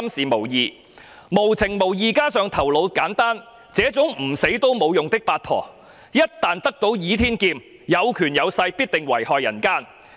無情無義，加上頭腦簡單，這種唔死都冇用嘅八婆，一旦得到倚天劍，有權有勢，必定遺害人間。